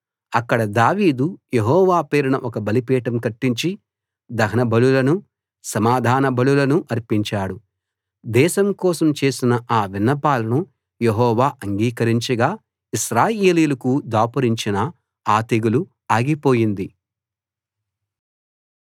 అక్కడ దావీదు యెహోవా పేరున ఒక బలిపీఠం కట్టించి దహన బలులను సమాధాన బలులను అర్పించాడు దేశం కోసం చేసిన ఆ విన్నపాలను యెహోవా అంగీకరించగా ఇశ్రాయేలీయులకు దాపురించిన ఆ తెగులు ఆగిపోయింది